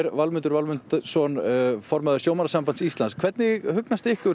Valmundur Valmundsson formaður Sjómannasambands Íslands hvernig hugnast ykkur